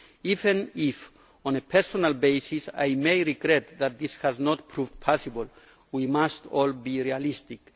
Even if, on a personal basis, I may regret that this has not proved possible, we must all be realistic.